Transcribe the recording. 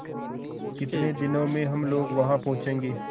कितने दिनों में हम लोग वहाँ पहुँचेंगे